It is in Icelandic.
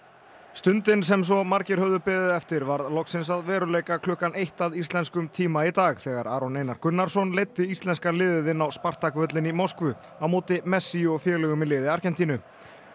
stundin sem svo margir höfðu beðið eftir varð loksins að veruleika klukkan eitt að íslenskum tíma í dag þegar Aron Einar Gunnarsson leiddi íslenska liðið inn á Spartak völlinn í Moskvu á móti messi og félögum í liði Argentínu